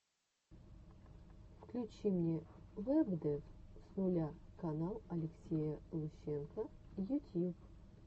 включи мне вэбдев с нуля канал алексея лущенко ютьюб